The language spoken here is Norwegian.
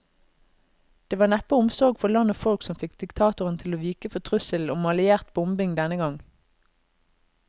Det var neppe omsorg for land og folk som fikk diktatoren til å vike for trusselen om alliert bombing denne gang.